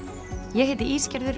ég heiti